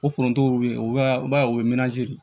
O forontow bɛ ye o b'a o ye manazi de